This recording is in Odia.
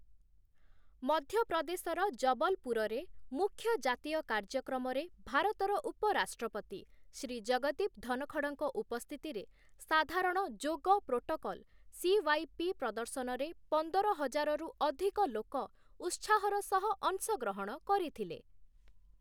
ମଧ୍ୟପ୍ରଦେଶର ଜବଲପୁରରେ ମୁଖ୍ୟ ଜାତୀୟ କାର୍ଯ୍ୟକ୍ରମରେ ଭାରତର ଉପରାଷ୍ଟ୍ରପତି ଶ୍ରୀ ଜଗଦୀପ ଧନଖଡ଼ଙ୍କ ଉପସ୍ଥିତିରେ ସାଧାରଣ ଯୋଗ ପ୍ରୋଟୋକଲ୍ ସି.ୱାଇ.ପି. ପ୍ରଦର୍ଶନରେ ପନ୍ଦର ହଜାରରୁ ଅଧିକ ଲୋକ ଉତ୍ସାହର ସହ ଅଂଶଗ୍ରହଣ କରିଥିଲେ ।